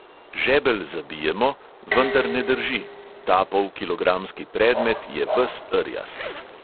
Žebelj zabijemo, vendar ne drži, ta polkilogramski predmet je ves rjast.